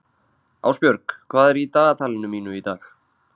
Ásbjörg, hvað er í dagatalinu mínu í dag?